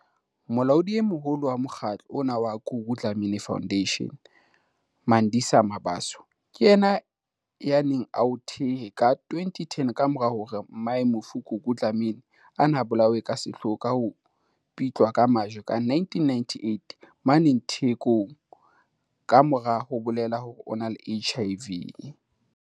Molaodi e moholo wa mokgatlo ona wa Gugu Dla-mini Foundation, Mandisa Mabaso, ke yena yaneng a o thehe ka 2010 ka mora hore mmae mofu Gugu Dlamini, a ne a bolawe ka sehloho ka ho pitlwa ka majwe ka 1998 mane Thekong ka mora ho bolela hore o na le HIV.